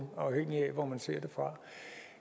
afhængigt af hvor man ser det fra